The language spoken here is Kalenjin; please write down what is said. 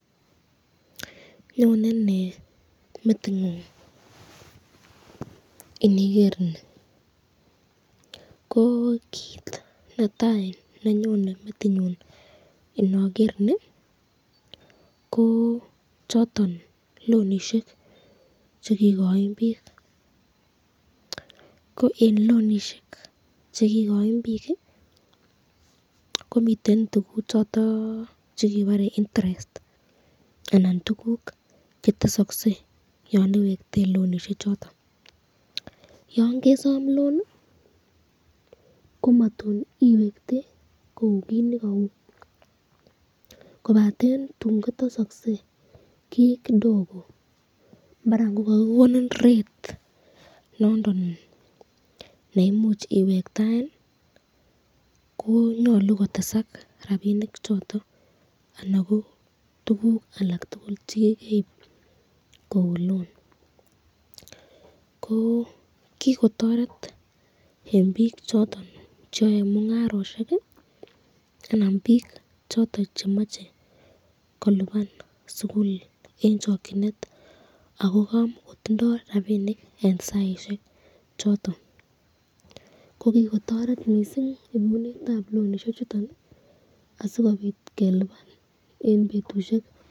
Anyone nee metingung iniger ni?kit netai nenyone metinyun inoger ni ko choton lonishek chekikoin bik, eng lonishek chekikoin bik ko miten tukuk choton chekebare interest, anan tukuk chetesakse yan iwektei lonishek choton, yon kesom loani ko mtun iwektei kou kit nekau kobaten tun kotesaksi kii kidogo maran ko kakikonin rate nondon neimuchi iwektaen ko nyolu kotesak rapinik choton anan ko tukuk alak tukul chekikoib kou loan ko kikotoret eng bik cho cheyae mungaroshek anan bik choton cheamache koliban sukul eng chokyinet ako kamakotindo rapinik eng saisyek choton, ko kikotoret mising inunetab lonishek choton sikobit keliban eng betushek.